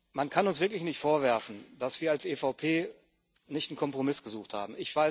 Man kann uns wirklich nicht vorwerfen, dass wir als EVP nicht einen Kompromiss gesucht haben.